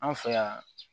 An fɛ yan